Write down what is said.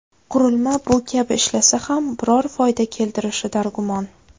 Qurilma bu kabi ishlasa ham biror foyda keltirishi dargumon.